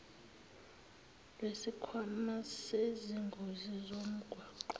lwesikhwama sezingozi zomgwaqo